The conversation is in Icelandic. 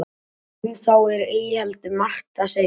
um þá er ei heldur margt að segja